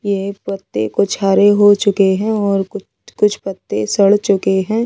ये पत्‍ते कुछ हरे हो चुके है और कुछ कुछ पत्‍ते सड़ चुके है।